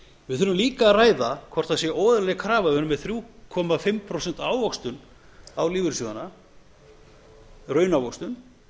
við þurfum líka að ræða hvort það sé óeðlileg krafa við erum með þrjú og hálft prósent ávöxtun á lífeyrissjóðina raunávöxtun